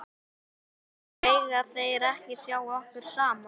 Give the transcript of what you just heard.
Mega þeir ekki sjá okkur saman?